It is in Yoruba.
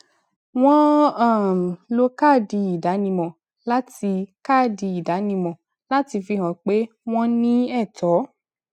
wọn um lo káàdì ìdánimọ láti káàdì ìdánimọ láti fi hàn pé wọn ní ẹtọ